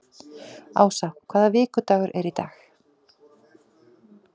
Ása, hvaða vikudagur er í dag?